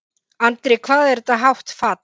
Andri: Hvað er þetta hátt fall?